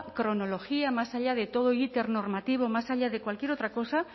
cronología más allá de todo íter normativo más allá de cualquier otra cosa